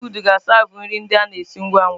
Fasti fụụdụ na a siavu nri ndị a na esi ngwa ngwa.